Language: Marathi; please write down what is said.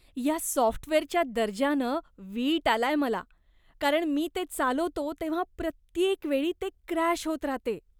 या सॉफ्टवेअरच्या दर्जानं वीट आलाय मला, कारण मी ते चालवतो तेव्हा प्रत्येक वेळी ते क्रॅश होत राहते.